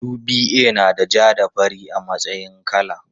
UBA nada ja da fari a matsayin kala.